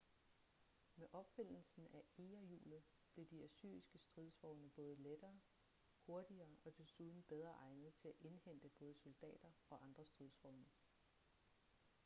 med opfindelsen af egerhjulet blev de assyriske stridsvogne både lettere hurtigere og desuden bedre egnet til at indhente både soldater og andre stridsvogne